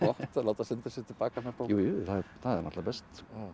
að láta senda sig til baka með bók jú jú það er náttúrulega best